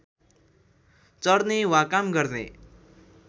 चर्ने वा काम गर्ने